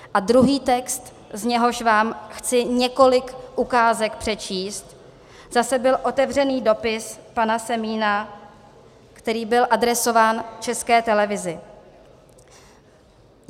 A druhý text, z něhož vám chci několik ukázek přečíst, zase byl otevřený dopis pana Semína, který byl adresován České televizi.